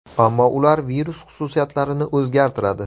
Ammo ular virus xususiyatlarini o‘zgartiradi.